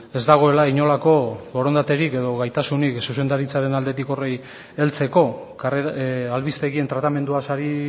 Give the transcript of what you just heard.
ez dagoela inolako borondaterik edo gaitasunik zuzendaritzaren aldetik horri heltzeko albistegien tratamenduaz ari